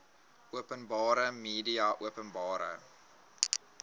openbare media openbare